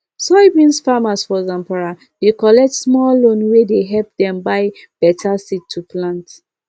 soyabean farmers for zamfara dey collect small loan wey dey help dem buy better seed to plant